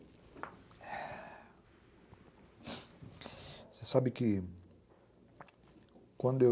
Você sabe que quando eu...